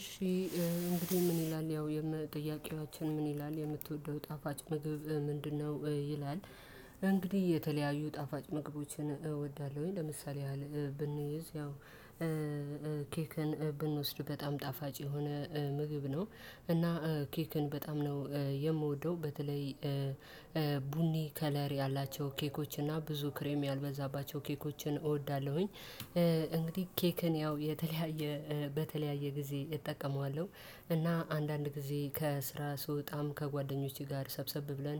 እሺ። እንግዲህ ምን ይላል ያው የመጠያቂያችን ምን ይላል የምትወደው ጣፋጭ ምግብ ምንድነው? ይላል እንግዲህ የተለያዩ ጣፋጭ ምግቦችን እወዳለሁኝ ለምሳሌ ያህል ብንይዝ ያው ኬክን ብንወስድ በጣም ጣፋጭ የሆነ ምግብ ነው። እና ኬክን በጣም ነው የምወደው በተለይ ቡኒ ከለር ያላቸው ኬኮች እና ብዙ ክሬም ያልበዛባቸው ኬኮችን እወዳለሁኝ። እንግዲህ ኬክን ያው የተለያየ በተለያየ ጊዜ እና አንዳንድ ጊዜ ከስራ ስወጣም ከጓደኞቼ ጋር ሰብሰብ ብለን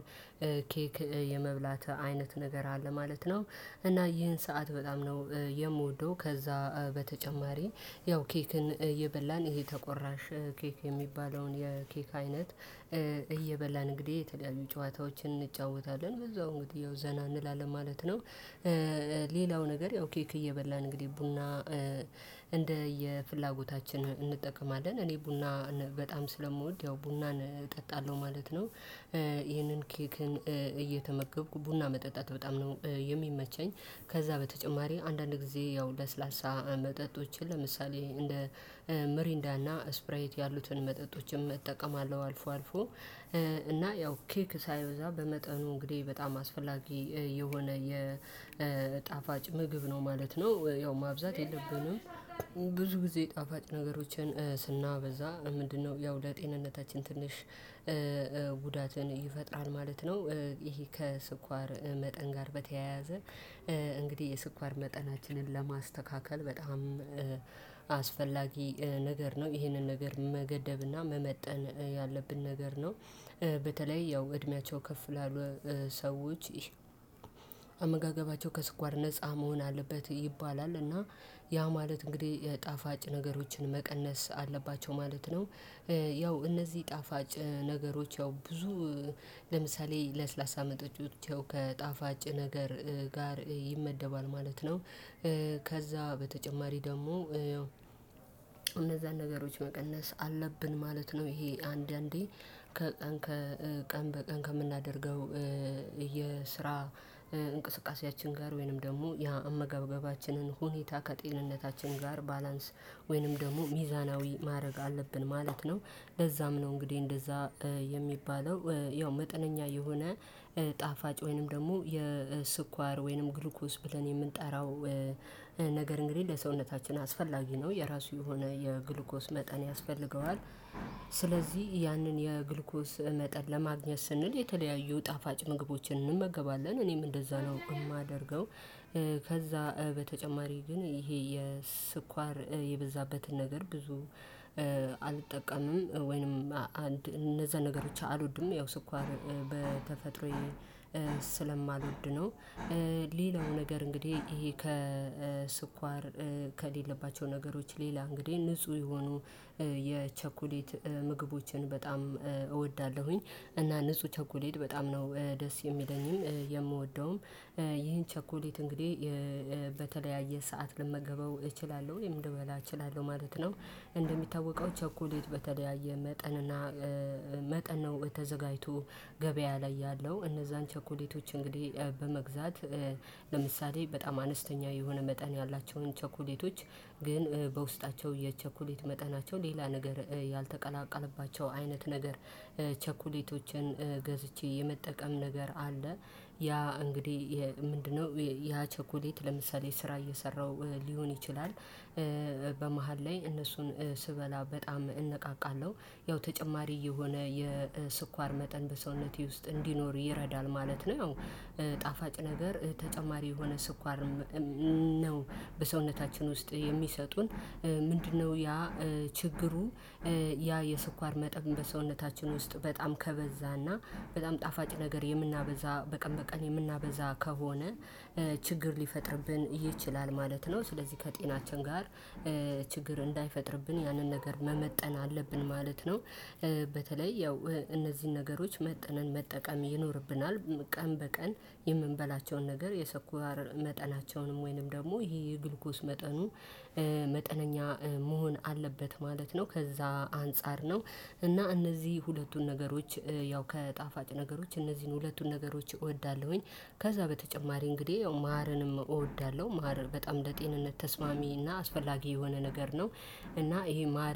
ኬክ የመብላት አይነት ነገር አለ ማለት ነው። እና ይህን ሰዓት በጣም ነው የምወደው። ከዛ በተጨማሪ ያው ኬክን እየበላን ይሄ ተቆራሽ ኬክ የሚባለውን የኬክ አይነት እየበላን እንግዲህ የተለያዩ ጨዋታዎችን እንጫወታለን በዛው እንግዲህ ያው ዘና እንላለን ማለት ነው። ነገር እየበላን እንግዲህ ቡና እንደ የፍላጎታችን እንጠቀማለን እኔ ቡና በጣም ስለምወድ ያው ቡናን እጠጣለሁ ማለት ነው። ይሄንን ኬክን እየተመገብኩ ቡና መጠጣት በጣም ነው የሚመቸኝ። ከዛ በተጨማሪ አንዳንድ ጊዜ ያው ለስላሳ መጠጦችን ለምሳሌ እንደ ምሪንዳና ስፕራይት ያሉትን መጠጦችን እጠቀማለሁ አልፎ አልፎ። እና ያው ኬክ ሳይበዛ በመጠኑ እንግዲህ በጣም አስፈላጊ የሆነ የጣፋጭ ምግብ ነው ማለት ነው። ያው ማብዛት የለብንም። ብዙ ጊዜ ጣፋጭ ነገሮችን ስናበዛ ምንድነው ያው ለጤንነታችን ትንሽ ጉዳትን ይፈጣል ማለት ነው። ይሄ ከስኳር መጠን ጋር በተያያዘ እንግዲህ የስኳር መጠናችንን ለማስተካከል በጣም አስፈላጊ ነገር ነው ይሄንን ነገር መገደብና መመጠን ያለብን ነገር ነው። በተለይ ያው እድሜያቸው ከፍ ላሉ ሰዎች አመጋገባቸው ከስኳር ነፃ መሆን አለበት ይባላል እና ያ ማለት እንግዲህ ጣፋጭ ነገሮችን መቀነስ አለባቸው ማለት ነው። ያው እነዚህ ጣፋጭ ነገሮች ያው ብዙ ለምሳሌ ለስላሳ መጠጦች ከጣፋጭ ነገር ጋር ይመደባል ማለት ነው። ከዛ በተጨማሪ ደግሞ እነዛን ነገሮች መቀነስ አለብን ማለት ነው። ይሄ አንዳንዴ ከቀን ከምናደርገው የስራ እንቅስቃሴያችን ጋር ወይንም ደግሞ የአመገብገባችንን ሁኔታ ከጤንነታችን ጋር ባላንስ ወይንም ደግሞ ሚዛናዊ ማድረግ አለብን ማለት ነው። ለዛም ነው እንግዲህ እንደዛ የሚባለው ያው መጠነኛ የሆነ ጣፋጭ ወይንም ደግሞ የስኳር ወይንም ግሉኮስ ብለን የምንጠራው ነገር እንግዲህ ለሰውነታችን አስፈላጊ ነው የራሱ የሆነ የግሉኮስ መጠን ያስፈልገዋል። ስለዚህ ያንን የግሉኮስ መጠን ለማግኘት ስንል የተለያዩ ጣፋጭ ምግቦችን እንመገባለን እኔም እንደዛ ነው የማደርገው። በተጨማሪ ግን ይሄ የስኳር የበዛበትን ነገር ብዙ አልጠቀምም። ወይንም አንድ እነዛ ነገሮች አልወድም ያው ስኳር በተፈጥሮዬ ነው። ሌላው ነገር እንግዲህ ይሄ ከስኳር ከሌለባቸው ነገሮች ሌላ እንግዲህ ንጹህ የሆኑ የቸኮሌት ምግቦችን በጣም እወዳለሁኝ። እና ንጹህ ቸኮሌት በጣም ነው ደስ የሚለኝም የምወደውም ይሄን ቸኮሌት እንግዲህ በተለያየ ሰዓት ልመገበው እችላለሁ ወይም ልበላ እችላለሁ ማለት ነው። እንደሚታወቀው ቸኮሊት በተለያየ መጠን እና መጠን ነው ተዘጋጅቶ ገበያ ላይ ያለው እነዛን ቸኮሌቶች እንግዲህ በመግዛት ለምሳሌ በጣም አነስተኛ የሆነ መጠን ያላቸውን ቸኮሌቶች ግን በውስጣቸው የቸኩሌት መጠናቸው ሌላ ነገር ያልተቀላቀለባቸው አይነት ነገር ገዝቼ የመጠቀም ነገር አለ። ያ እንግዲህ ምንድነው? ያ ቸኮሌት ለምሳሌ ስራ እየሰራው ሊሆን ይችላል። በመሃል ላይ እነሱን ስበላ በጣም እንነቃቃለሁ ያው ተጨማሪ የሆነ የስኳር መጠን በሰውነቴ ውስጥ እንዲኖር ይረዳል ማለት ነው። ያው ጣፋጭ ነገር ተጨማሪ የሆነ ስኳር ነው በሰውነታችን ውስጥ የሚሰጡን ምንድነው ያ ችግሩ? ያ የስኳር መጠን በሰውነታችን ውስጥ በጣም ከበዛና በጣም ጣፋጭ ነገር የምናበዛ በቀን በቀን የምናበዛ ከሆነ ችግር ሊፈጥርብን ይችላል ማለት ነው። ስለዚህ ከጤናችን ጋር ችግር እንዳይፈጥርብን ያንን ነገር መመጠን አለብን ማለት ነው። በተለይ ያው እነዚህን ነገሮች መጥነን መጠቀም ይኖርብናል። ቀን በቀን የምንበላቸውን ነገር የስኳር መጠናቸውንም ወይንም ደግሞ ይሄ የግሉኮስ መጠኑ መሆን አለበት ማለት ነው። ከዛ አንፃር ነው። እና እነዚህ ሁለቱን ነገሮች ያው ከጣፋጭ ነገሮች እነዚህን ሁለቱን ነገሮች እወዳለሁኝ። ከዛ በተጨማሪ እንግዲህ ያው ማርንም እወዳለሁ ማር በጣም ለጤንነት ተስማሚ እና አስፈላጊ የሆነ ነገር ነው። እና ይሄ ማር